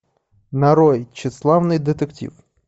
нарой тщеславный детектив